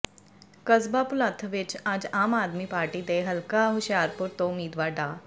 ਕਸਬਾ ਭੁਲੱਥ ਵਿਚ ਅੱਜ ਆਮ ਆਦਮੀ ਪਾਰਟੀ ਦੇ ਹਲਕਾ ਹੁਸ਼ਿਆਰਪੁਰ ਤੋਂ ਉਮੀਦਵਾਰ ਡਾ